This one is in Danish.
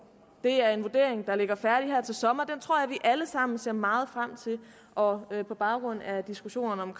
det er en vurdering der ligger færdig her til sommer den tror jeg at vi alle sammen ser meget frem til og på baggrund af diskussionen om